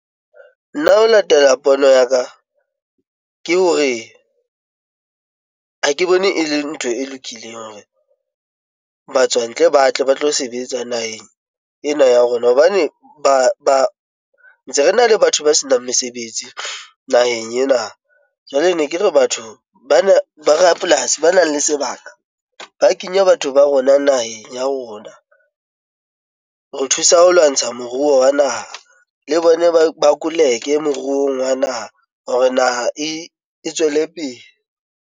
Nna ho latela pono ya ka, ke hore ha ke bone e le ntho e lokileng hore batswa ntle ba tle ba tlo sebetsa naheng ena ya rona hobane ba ntse re na le batho ba senang mesebetsi naheng ena. Jwale ne ke re batho bana ba rapolasi ba nang le se bana ba kenya batho ba rona naheng ya rona. Ho thusa ho lwantsha moruo wa naha le bona ba koleke moruong wa naha hore naha e e tswele pele.